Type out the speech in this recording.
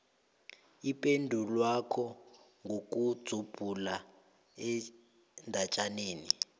ipendulwakho ngokudzubhula endatjaneni